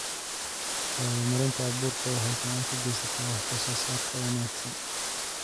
Horumarinta abuurku waxay gacan ka geysataa wax soo saarka wanaagsan.